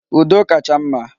Udo kacha mma.